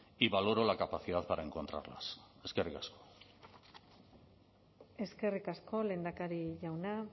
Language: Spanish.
y valoro la capacidad para encontrarlas eskerrik asko eskerrik asko lehendakari jauna